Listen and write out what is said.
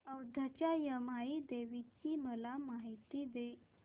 औंधच्या यमाई देवीची मला माहिती दे